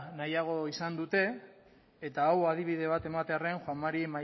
nahiago izan dute eta hau adibide bat ematearren juan mari